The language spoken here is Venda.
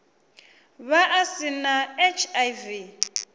vha a si na hiv